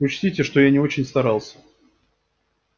учтите что я не очень старался